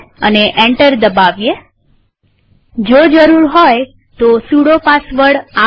enter દબાવીએજો જરૂર હોય તો સુડો પાસવર્ડ આપીએ